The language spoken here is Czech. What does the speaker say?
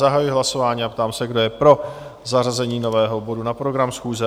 Zahajuji hlasování a ptám se, kdo je pro zařazení nového bodu na program schůze?